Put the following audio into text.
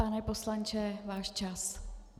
Pane poslanče, váš čas.